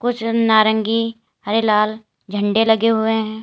नारंगी हरे लाल झंडे लगे हुए हैं।